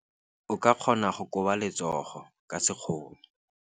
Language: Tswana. O ka kgona go koba letsogo ka sekgono.